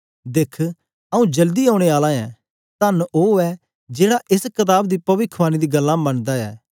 दिख आऊँ जल्दी औने आला ऐं तन्न ऐ ओ जेड़ा एस कताब दी पविखवाणी दी गल्लां मनदा ऐ